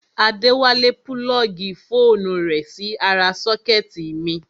Adéwálé púlọ́ọ̀gì fóònù rẹ̀ sí ara sọ́kẹ́tì mi